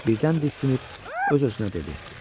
Birdən diksinib öz-özünə dedi: